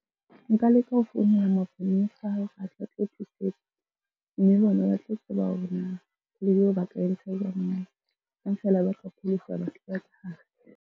Nka leka ho founela maponesa ao a tla tlo thusetsa, mme bona ba tlo tseba hore na .